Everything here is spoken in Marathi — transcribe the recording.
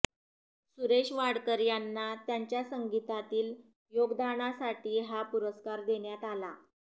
सुरेश वाडकर यांना त्यांच्या संगीतातील योगदानासाठी हा पुरस्कार देण्यात आला